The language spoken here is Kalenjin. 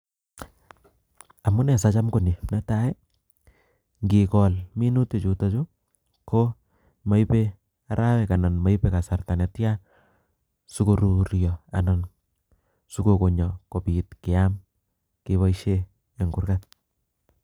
amunee siacham konii. netai, ngikol minutik chutochu ko maibei arawek ana komaipe kasarta netya, sikoruryo ana sikogonyo sikopit keam kepoishe eng gurgat